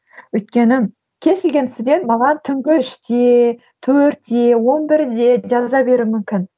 өйткені кез келген студент маған түнгі үште төртте он бірде жаза беруі мүмкін